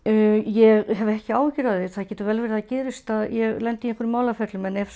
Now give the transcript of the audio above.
ég hef ekki áhyggjur af því það getur vel verið að það gerist að ég lendi í einhverjum málaferlum en ef